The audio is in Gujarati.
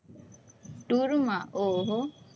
tour માં? ઓહો!